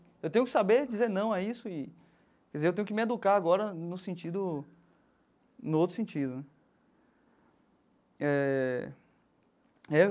Eu tenho que saber dizer não a isso e, quer dizer, eu tenho que me educar agora no sentido, no outro sentido, né? Eh e aí.